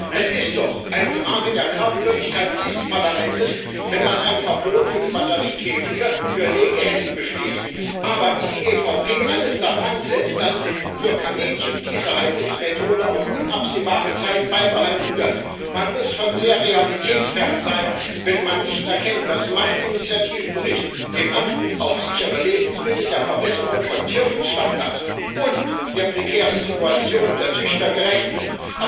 Es ist doch eine Frage der Glaubwürdigkeit dieses Parlaments, wenn man ein Verbot für die Batteriekäfige für Legehennen beschließt, aber wie die EVP alles daran setzt, dass für Kaninchen diese Haltungsmethode auf unabsehbare Zeit beibehalten wird. Man muss schon sehr realitätsfern sein, wenn man nicht erkennt, dass mein Initiativbericht dem Anspruch auf sichere Lebensmittel, der Verbesserung von Tierschutzstandards und der prekären Situation der Züchter gerecht wird.